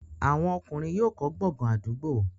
àwọn ọkùnrin yóò kọ́ gbọ̀ngàn àdúgbò.